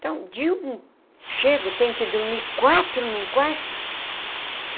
Então, de um... Chego, tenho que dormir quatro num quarto?